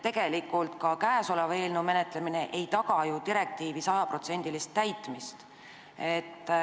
Tegelikult ei taga ka käesolev eelnõu ju direktiivi 100%-list täitmist.